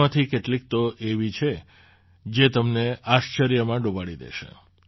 તેમાંથી કેટલીક તો એવી છે જે તમને આશ્ચર્યમાં ડૂબાડી દેશે